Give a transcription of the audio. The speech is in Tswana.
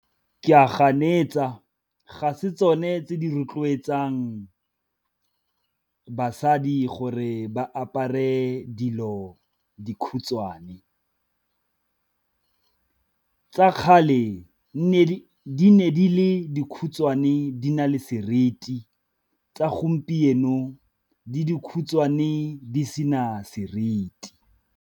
Ke a ganetsa, ga se tsone tse di rotloetsang basadi gore ba apare dilo dikhutshwane. Tsa kgale di ne di le dikhutshwane di na le seriti, tsa gompieno di dikhutshwane di sena seriti.